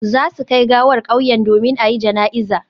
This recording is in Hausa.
Za su kai gawar kauyen domin a yi jana'iza